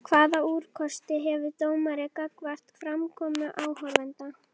Hvaða úrkosti hefur dómari gagnvart framkomu áhorfenda?